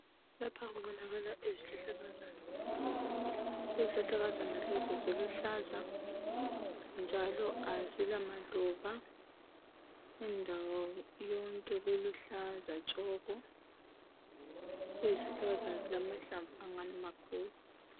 Lapha kubonakala izihlahlakazana. Izihlahlakazana lezi ziluhlaza njalo azila maluba. Indawo yonke kuluhlaza tshoko. Izihlahlakazana zilamahlamvu angani makhulu.